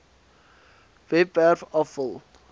webwerf af vul